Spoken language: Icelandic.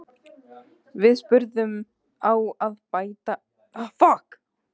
Við spurðum, á að hækka barnabætur?